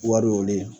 Wariw de